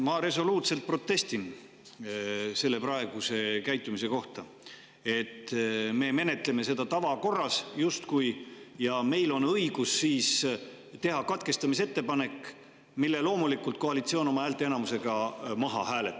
Ma resoluutselt protestin selle praeguse käitumise vastu, et me menetleme seda justkui tavakorras ja meil on õigus teha katkestamise ettepanek, mille loomulikult koalitsioon oma häälteenamusega maha hääletab.